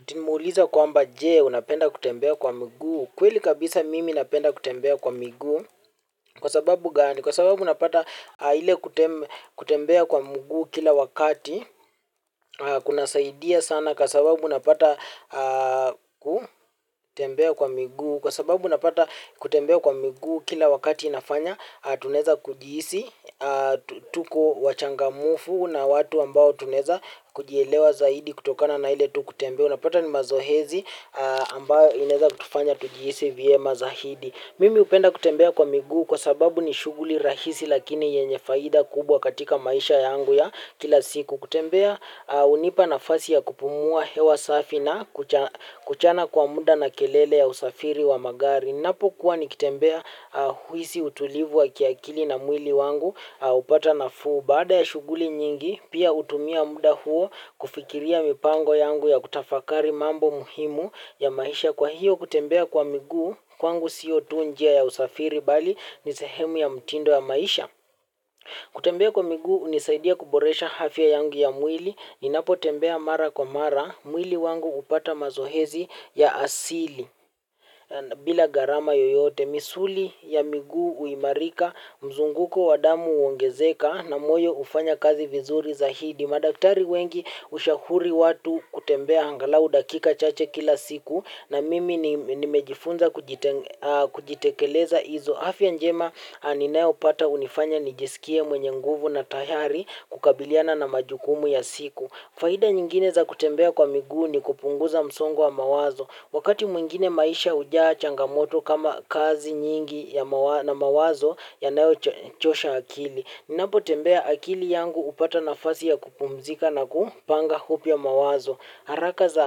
Atimuuliza kwamba je unapenda kutembea kwa mguu? Kweli kabisa mimi napenda kutembea kwa miguu. Kwa sababu gani? Kwa sababu napata hile kutembea kwa mguu kila wakati. Kunasaidia sana kwa sababu unapata kutembea kwa miguu. Kwa sababu unapata kutembea kwa mguu kila wakati inafanya. Tunaweza kujihisi tuko wachangamfu na watu ambao tunaweza kujielewa zaidi kutokana na hile tu kutembea. Unapata ni mazoezi ambayo inaweza kutufanya tujihisi vyema mazaidi. Mimi hupenda kutembea kwa miguu kwa sababu ni shuguli rahisi lakini yenye faida kubwa katika maisha yangu ya kila siku. Kutembea hunipa nafasi ya kupumua hewa safi na kuachana kwa muda na kelele ya usafiri wa magari. Napo kuwa nikitembea huhisi utulivu wa kiakili na mwili wangu hupata nafuu. Baada ya shuguli nyingi pia hutumia muda huo kufikiria mipango yangu ya kutafakari mambo muhimu ya maisha kwa hiyo kutembea kwa miguu kwangu sio tu njia ya usafiri bali ni sehemu ya mtindo ya maisha. Kutembea kwa miguu hunisaidia kuboresha afya yangu ya mwili ninapotembea mara kwa mara mwili wangu hupata mazoezi ya asili. Bila gharama yeyote misuli ya miguu huimarika mzunguko wa damu huongezeka na moyo hufanya kazi vizuri zaidi. Madaktari wengi hushauri watu kutembea angalau dakika chache kila siku na mimi nimejifunza kujitekeleza hizo afya njema ninayopata hunifanya nijisikie mwenye nguvu na tayari kukabiliana na majukumu ya siku. Faida nyingine za kutembea kwa migu nikupunguza msongo wa mawazo. Wakati mwingine maisha hujaa changamoto kama kazi nyingi na mawazo yanayo chosha akili. Ninapotembea akili yangu hupata naasi ya kupumzika na kupanga upya mawazo. Haraka za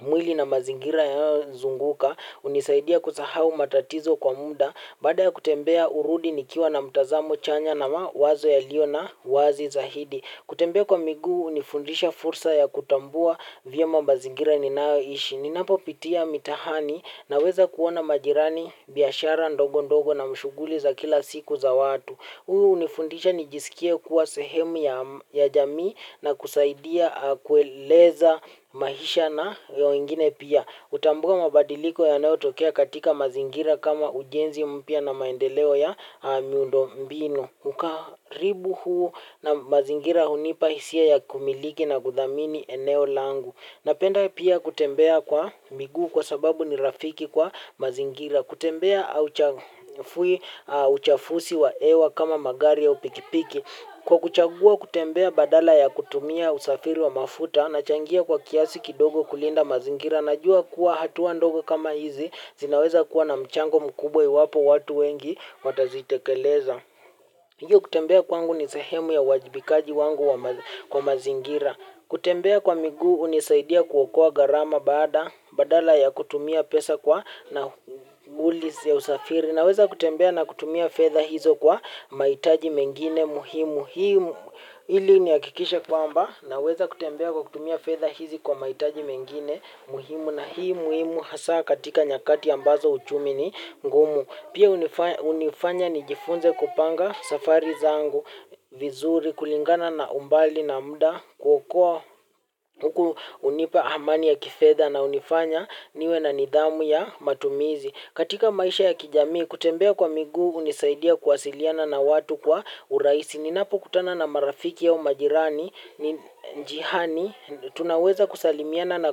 mwili na mazingira ya zunguka hunisaidia kusahau matatizo kwa muda. Badaa ya kutembea hurudi nikiwa na mtazamo chanya na mawazo yalio na wazi zaidi. Kutembea kwa miguu hunifundisha fursa ya kutambua vya mazingira ninayoishi. Ninapopitia mitaani naweza kuona majirani biashara ndogo ndogo na mashuguli za kila siku za watu. Huu hunifundisha nijisikie kuwa sehemu ya jamii na kusaidia kueleza maisha na yo ingine pia. Hutambua mabadiliko yanayotokea katika mazingira kama ujenzi mpya na maendeleo ya miundo mbinu. Ukaribu huu na mazingira hunipahisia ya kumiliki na kudhamini eneo langu. Napenda pia kutembea kwa miguu kwa sababu ni rafiki kwa mazingira. Kutembea uchafusi wa hewa kama magari au pikipiki. Kwa kuchagua kutembea badala ya kutumia usafiri wa mafuta. Nachangia kwa kiasi kidogo kulinda mazingira. Najua kuwa hatua ndogo kama hizi zinaweza kuwa na mchango mkubwa iwapo watu wengi watazitekeleza. Hiyo kutembea kwangu ni sehemu ya uwajibikaji wangu kwa mazingira. Kutembea kwa migu hunisaidia kuokoa gharama bada, badala ya kutumia pesa kwa nauli za usafiri. Naweza kutembea na kutumia fedha hizo kwa mahitaji mengine muhimu. Hii ili ni hakikishe kwamba naweza kutembea kwa kutumia fedha hizi kwa mahitaji mengine muhimu. Na hii muhimu hasa katika nyakati ambazo uchumi ni ngumu. Pia hunifanya nijifunze kupanga safari zangu vizuri kulingana na umbali na muda kukuwa hunipa amani ya kifedha na hunifanya niwe na nidhamu ya matumizi. Katika maisha ya kijamii kutembea kwa miguu hunisaidia kuwasiliana na watu kwa urahisi. Ninapokutana na marafiki au majirani njiaani tunaweza kusalimiana na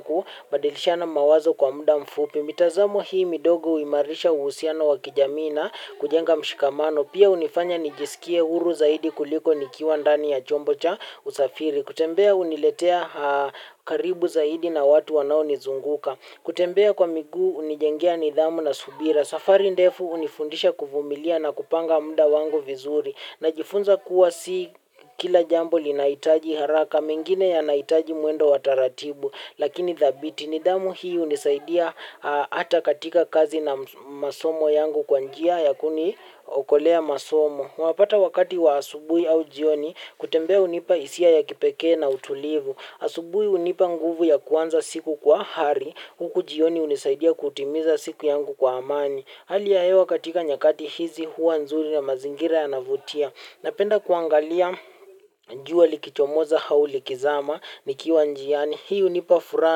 kubadilishana mawazo kwa muda mfupi. Mitazamo hii midogo humarisha uhusiano wakijamii na kujenga mshikamano. Pia hunifanya nijisikie huru zaidi kuliko nikiwa ndani ya chombo cha usafiri. Kutembea huniletea karibu zaidi na watu wanaonizunguka. Kutembea kwa miguu hunijengea nidhamu na subira. Safari ndefu hunifundisha kuvumilia na kupanga muda wangu vizuri. Najifunza kuwa si kila jambo linahitaji haraka. Mengine yanahitaji mwendo wataratibu. Lakini dhabiti. Nidhamu hii hunisaidia ata katika kazi na masomo yangu kwa njia ya kuniokolea masomo. Mwapata wakati wa asubuhi au jioni kutembea hunipa hisia ya kipekee na utulivu. Asubuhi hunipa nguvu ya kuanza siku kwa hari. Huku jioni hunisaidia kutimiza siku yangu kwa amani. Hali ya hewa katika nyakati hizi huwa nzuri na mazingira yanavutia. Napenda kuangalia jua likichomoza au likizama nikiwa njiani. Hii hunipa furaha.